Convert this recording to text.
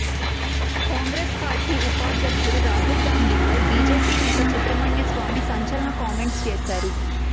Congress party ఉపాధ్యక్షుడు రాహుల్ గాంధీపై BJP నేత సుబ్రహ్మణ్య స్వామి సంచలన కామెంట్స్ చేశారు